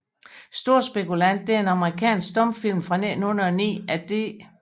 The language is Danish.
Storspekulanten er en amerikansk stumfilm fra 1909 af D